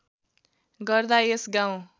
गर्दा यस गाउँ